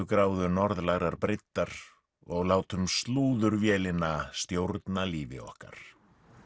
gráðu norðlægrar breiddar og látum stjórna lífi okkar